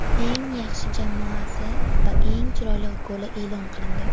eng yaxshi jamoasi va eng chiroyli goli e’lon qilindi;.